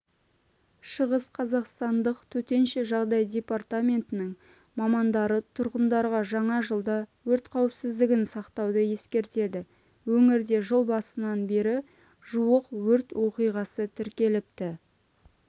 шығыс қазақстандық төтенше жағдай департаментінің мамандары тұрғындарға жаңа жылда өрт қауіпсіздігін сақтауды ескертеді өңірде жыл басынан бері жуық өрт оқиғасы тіркеліпті